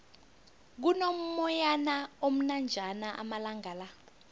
kuno moyana omnanjana amalangala